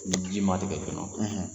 Ni ji ma tigɛ kɔnɔ